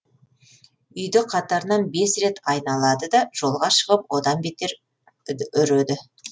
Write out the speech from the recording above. үйді қатарынан бес рет айналады да жолға шығып одан бетер үд үреді